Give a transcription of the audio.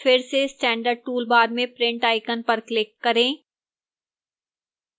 फिर से standard toolbar में print icon पर click करें